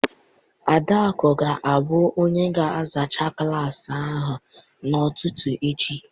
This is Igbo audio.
Adaaku ga-abụ onye ga-azacha klaasị ahụ n'ụtụtụ echi.